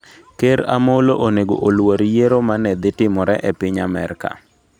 Ker Amollo onego oluor yiero ma ne dhi timore e piny Amerka?